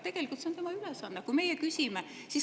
Tegelikult on tema ülesanne, kui meie küsime.